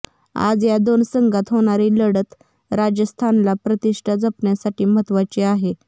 आज या दोन संघात होणारी लढत राजस्थानला प्रतिष्ठा जपण्यासाठी महत्त्वाची आहे